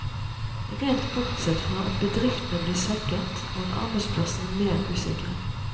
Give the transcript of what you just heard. Rent bortsett fra at bedriftene blir svekket, og arbeidsplassene mer usikre.